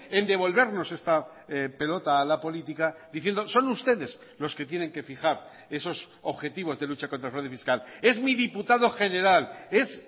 en devolvernos esta pelota a la política diciendo son ustedes los que tienen que fijar esos objetivos de lucha contra el fraude fiscal es mi diputado general es